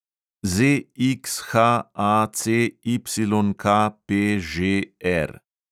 ZXHACYKPŽR